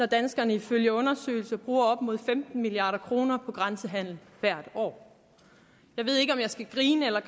danskerne ifølge undersøgelser bruger op mod femten milliard kroner på grænsehandel hvert år jeg ved ikke om jeg skal grine eller